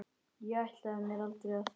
Ég ætlaði mér aldrei að.